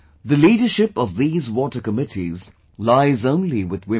The leadership of these water committees lies only with women